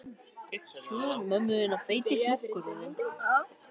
Hvað er annars að frétta af pabba þínum?